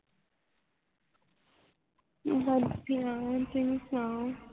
ਵਧੀਆ ਤੁਸੀਂ ਸੁਣਾਓ